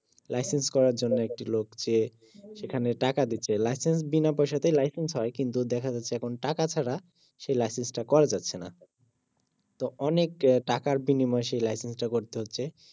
licence করার জন্য একটি লোক কে এখানে টাকা দিতে লাইসেন্স বিনাপয়সাতেই লাইসেন্স হয় কিন্তু দেখা যাচ্ছে এখন টাকা ছাড়া সে লাইসেন্স টা করা যাচ্ছে না তো অনেক টাকার বিনিময়ে সেই লাইসেন্সটা করতে হচ্ছে